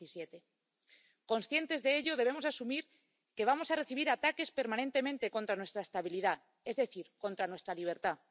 2017. Conscientes de ello, debemos asumir que vamos a recibir ataques permanentemente contra nuestra estabilidad, es decir, contra nuestra libertad.